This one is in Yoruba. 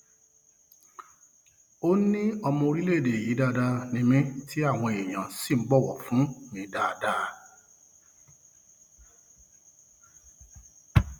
ó ní ọmọ orílẹèdè yìí dáadáa ni mí tí àwọn èèyàn sì ń bọwọ fún mi dáadáa